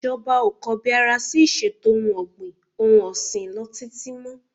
Ìjọba kò ibi ara sí iṣetò ohun-ọ̀gbìn-òhun-ọ̀sìn lọ títí mọ́.